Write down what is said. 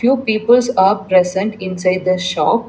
two peoples are present inside the shop.